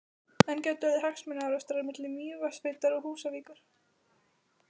En gætu orðið hagsmunaárekstrar milli Mývatnssveitar og Húsavíkur?